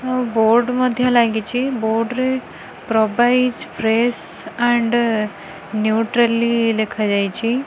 ଆଉ ବୋର୍ଡ଼ ମଧ୍ୟ ଲାଗିଛି ବୋଡ଼ ରେ ପ୍ରବାଇସ ପ୍ରେସ ଆଣ୍ଡ ନିଉଟ୍ରାଲି ଲେଖାଯାଇଛି।